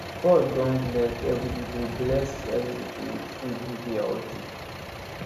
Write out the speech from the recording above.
god don bless every people bless every people with food wey dey healthy